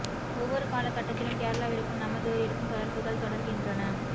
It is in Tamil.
ஒவ்வொரு கால கட்டத்திலும் கேரளாவிற்கும் நமதூரிற்கும் தொடர்புகள் தொடர் கின்றன